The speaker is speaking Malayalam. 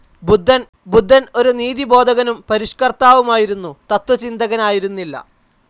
ബുദ്ധൻ, ഒരു നീതിബോധകനും പരിഷ്കർത്താവുമായിരുന്നു, തത്വചിന്തകനായിരുന്നില്ല.